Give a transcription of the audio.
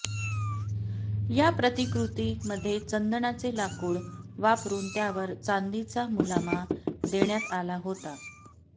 या प्रतिकृती मध्ये चंदनाचे लाकूड वापरून त्यावर चांदीचा मुलामा देण्यात आला होता